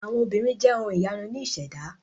Àwọn obìnrin jẹ́ ohun ìyanu ní ìṣẹ̀dá.